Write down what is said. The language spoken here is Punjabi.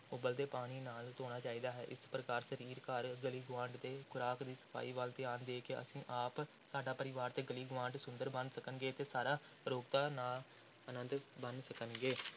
ਉਬਲਦੇ ਪਾਣੀ ਨਾਲ ਧੋਣਾ ਚਾਹੀਦਾ ਹੈ, ਇਸ ਪ੍ਰਕਾਰ ਸਰੀਰ, ਘਰ, ਗਲੀ ਗੁਆਂਢ ਤੇ ਖ਼ੁਰਾਕ ਦੀ ਸਫ਼ਾਈ ਵੱਲ ਧਿਆਨ ਦੇ ਕੇ ਅਸੀਂ ਆਪ, ਸਾਡਾ ਪਰਿਵਾਰ ਤੇ ਗਲੀ ਗੁਆਂਢ ਸੁੰਦਰ ਬਣ ਸਕਣਗੇ ਤੇ ਸਾਰੇ ਅਰੋਗਤਾ ਦਾ ਆਨੰਦ ਮਾਣ ਸਕਣਗੇ।